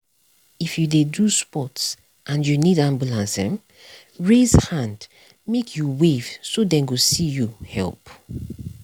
if you dey do sports and you need ambulance um raise hand make you wave so dem go see you help.